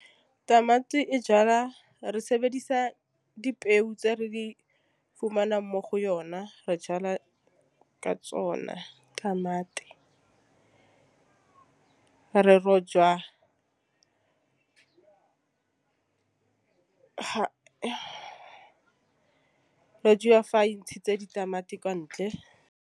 Tamati e jalwa re sebedisa dipeo tse re di fumanang mo go yona. Re jala ka tsona tamati rera o jwa re ja fa ntšhitse ditamati kwa ntle.